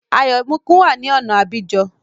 Ayọ̀míkún wá ní ọ̀na Abidjan